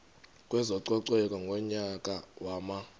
kwezococeko ngonyaka wama